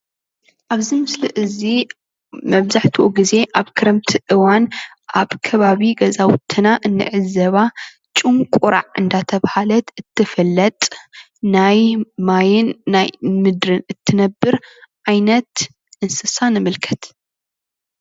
ኣብዚ ምስሊ እዚ መብዛሕትኡ ግዜ ኣብ ክረምቲ እዋን ኣብ ከባቢ ገዛውትና እንዕዘባ ጭንቁራዕ እንዳተባሃለት እትፍለጥ ናይ ማይን ናይ ምድርን እትነብር ዓይነት እንስሳ ንምልከት፡፡